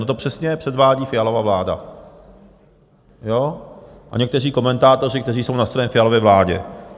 No to přesně předvádí Fialova vláda a někteří komentátoři, kteří jsou na straně Fialovy vlády.